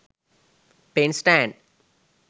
pen stand